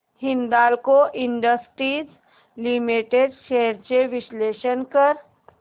Hindalco industries limited shares चे विश्लेषण कर